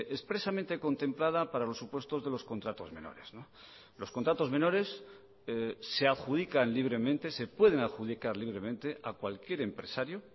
expresamente contemplada para los supuestos de los contratos menores los contratos menores se adjudican libremente se pueden adjudicar libremente a cualquier empresario